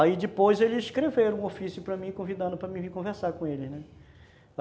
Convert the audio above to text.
Aí depois eles escreveram um ofício para mim, convidando para eu vir conversar com eles, né.